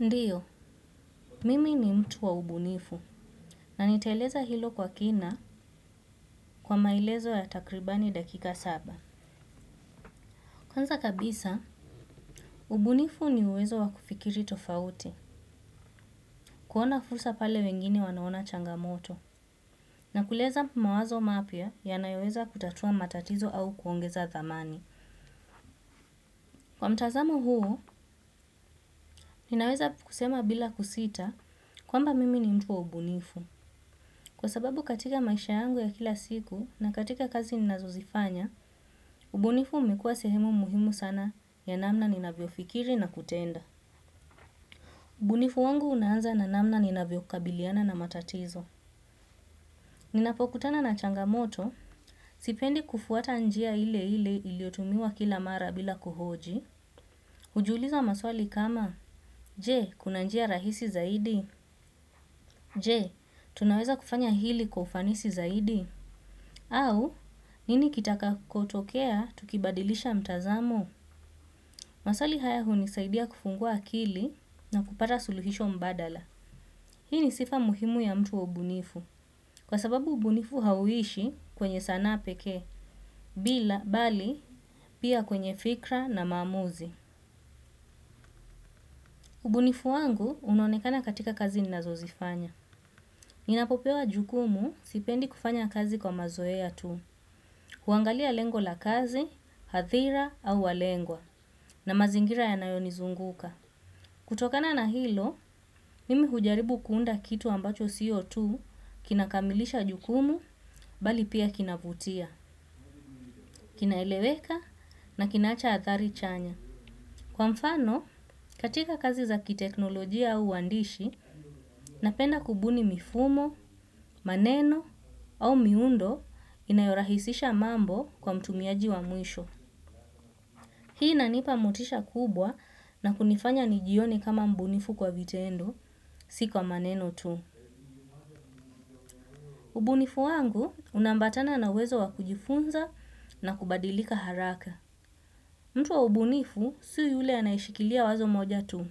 Ndiyo, mimi ni mtu wa ubunifu na nitaeleza hilo kwa kina kwa maelezo ya takribani dakika saba. Kwanza kabisa, ubunifu ni uwezo wa kufikiri tofauti, kuona fursa pale wengine wanaona changamoto na kuleza mawazo mapya yanayoweza kutatua matatizo au kuongeza dhamani. Kwa mtazamo huo, ninaweza kusema bila kusita kwamba mimi ni mtu wa ubunifu. Kwa sababu katika maisha yangu ya kila siku na katika kazi ninazozifanya, ubunifu umekua sehemu muhimu sana ya namna ninavyo fikiri na kutenda. Ubunifu wangu unaanza na namna ninavyo kabiliana na matatizo. Ninapokutana na changamoto, sipendi kufuata njia ile ile iliotumiwa kila mara bila kuhoji. Ujiuliza maswali kama, je, kuna njia rahisi zaidi? Je, tunaweza kufanya hili kufanisi zaidi? Au, nini kitakakutokea tukibadilisha mtazamo? Maswali haya hunisaidia kufungua akili na kupata suluhisho mbadala. Hii ni sifa muhimu ya mtu wa ubunifu. Kwa sababu ubunifu hauishi kwenye sanaa peke, bila bali pia kwenye fikra na mamuzi. Ubunifu wangu unonekana katika kazi ninazozifanya. Ninapopewa jukumu sipendi kufanya kazi kwa mazoea tu. Huangalia lengo la kazi, hathira au walengwa. Na mazingira yanayonizunguka. Kutokana na hilo, mimi hujaribu kuunda kitu ambacho sio tu kinakamilisha jukumu, bali pia kinavutia. Kinaeleweka na kinaacha atari chanya. Kwa mfano, katika kazi za kiteknolojia au uwandishi, napenda kubuni mifumo, maneno au miundo inayorahisisha mambo kwa mtumiaji wa mwisho. Hii inanipa motisha kubwa na kunifanya nijione kama mbunifu kwa vitendo si kwa maneno tu. Ubunifu wangu unaambatana na wezo wakujifunza na kubadilika haraka. Mtu wa ubunifu, si yule anayishikilia wazo moja tu.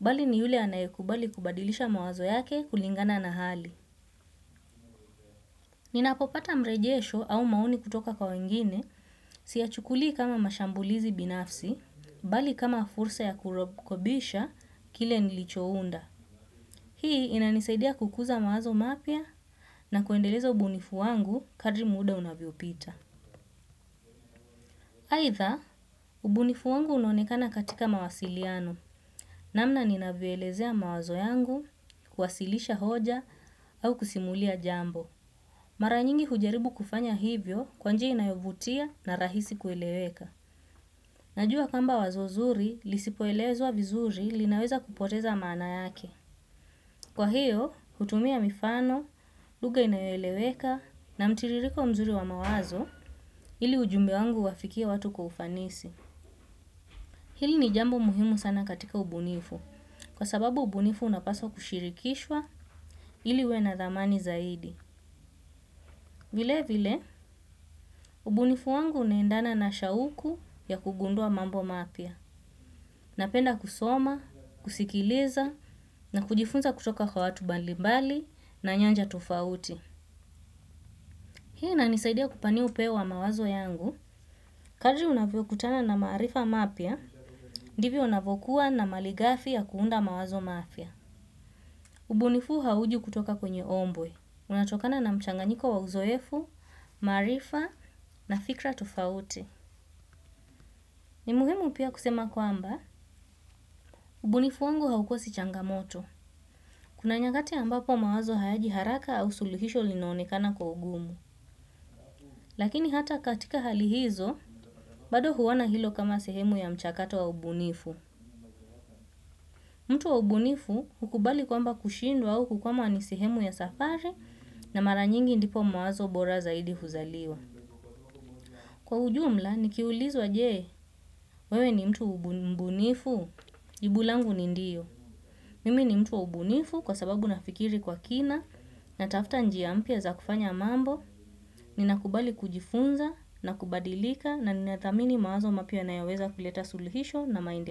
Bali ni yule anayekubali kubadilisha mawazo yake kulingana na hali. Ninapopata mrejesho au maoni kutoka kwa wengine siyachukuli kama mashambulizi binafsi. Bali kama fursa ya kurekebisha kile nilichounda. Hii inanisaidia kukuza mawazo mapya na kuendeleza ubunifu wangu kadri muda unavyopita. Aidha, ubunifu wangu unonekana katika mawasiliano. Namna ninavyoelezea mawazo yangu, kuasilisha hoja, au kusimulia jambo. Mara nyingi hujaribu kufanya hivyo kwanjia inayovutia na rahisi kueleweka. Najua kwmba wazo zuri lisipoelezwa vizuri linaweza kupoteza maana yake. Kwa hiyo, hutumia mifano, lugha inayoeleweka na mtiririko mzuri wa mawazo ili ujumbe wangu uwafikie watu kwa ufanisi. Hili ni jambo muhimu sana katika ubunifu kwa sababu ubunifu unapaswa kushirikishwa ili iwe na dhamani zaidi. Vile vile, ubunifu wangu unaendana na shauku ya kugundua mambo mapya. Napenda kusoma, kusikiliza na kujifunza kutoka kwa watu mbali mbali na nyanja tofauti. Hii inanisaidia kupania upeo wa mawazo yangu, kadri unavyo kutana na maarifa mapya, ndivyo unavyokuwa na maligafi ya kuunda mawazo mapya. Ubunifu huu hauji kutoka kwenye ombwe, unatokana na mchanganyiko wa uzoefu, maarifa na fikra tofauti. Ni muhimu pia kusema kwamba, ubunifu wangu haukosi changamoto. Kuna nyakati ambapo mawazo hayaji haraka au suluhisho linaonekana kwa ugumu. Lakini hata katika hali hizo, bado huona hilo kama sehemu ya mchakato wa ubunifu. Mtu wa ubunifu hukubali kwamba kushindwa au kukwama ni sehemu ya safari na mara nyingi ndipo mawazo bora zaidi huzaliwa. Kwa ujumla, nikiulizwa je, wewe ni mtu mbunifu, jibu langu ni ndio. Mimi ni mtu wa ubunifu kwa sababu nafikiri kwa kina na tafuta njia mpya za kufanya mambo. Ninakubali kujifunza na kubadilika na ninathamini mawazo mapya nayoweza kuleta suluhisho na maendeleo.